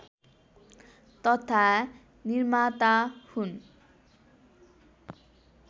तथा निर्माता हुन्